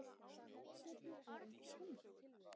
Knattspyrna er eins og tennis.